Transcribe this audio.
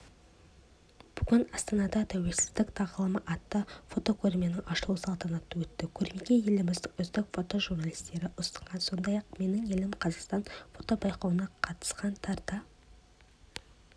бүгін астанада тәуелсіздік тағылымы атты фотокөрменің ашылу салтанаты өтті көрмеге еліміздің үздік фотожурналистері ұсынған сондай-ақ менің елім қазақстан фотобайқауына қатысқан тарта